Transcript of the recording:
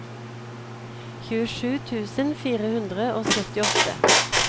tjuesju tusen fire hundre og syttiåtte